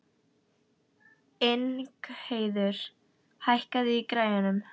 Ingheiður, hækkaðu í græjunum.